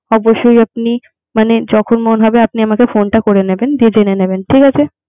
অবশ্যই আপনি মানে যখন মনে হবে আপনি আমাকে phone টা করে নিবেন। যেনে নিবেন ঠিক আছে